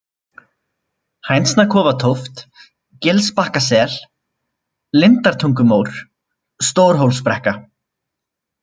Hænsnakofatóft, Gilsbakkasel, Lindartungumór, Stórhólsbrekka